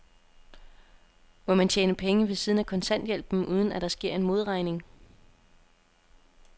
Må man tjene penge ved siden af kontanthjælpen, uden at der sker en modregning?